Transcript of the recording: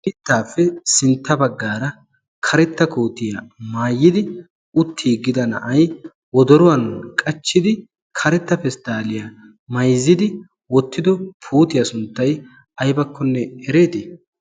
mittaappe sintta baggaara karetta kootiyaa maayidi uttiiggida na'ay wodoruwan qachchidi karetta pesttaaliyaa mayzzidi wottido pootiyaa sunttay aybakkonne ereetii